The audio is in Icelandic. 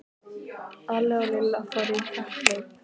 Alli og Lilla fóru í kapphlaup.